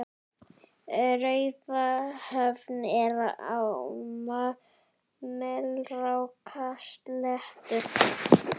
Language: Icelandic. Raufarhöfn er á Melrakkasléttu.